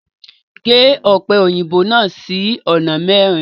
Gẹ́ òpẹ́ oyinbó náà sí ọ̀nà mẹrin!